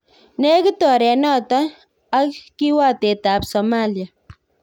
Nekit oret noton ak kiwatet ab Somalia